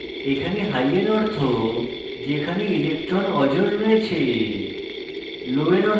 এখানে high এর অর্থ যেখানে electrons অজোড় রয়েছে